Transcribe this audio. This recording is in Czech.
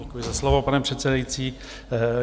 Děkuji za slovo, pane předsedající.